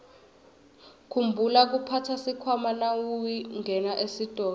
khumbula kuphatsa sikhwama nawungena esitolo